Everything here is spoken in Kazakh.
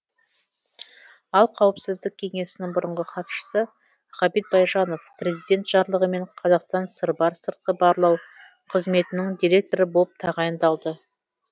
ал қауіпсіздік кеңесінің бұрынғы хатшысы ғабит байжанов президент жарлығымен қазақстан сырбар сыртқы барлау қызметінің директоры болып тағайындалды